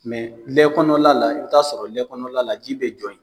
lɛ kɔnɔla la i bɛ taa sɔrɔ lɛ kɔnɔla la ji bɛ jɔ ye.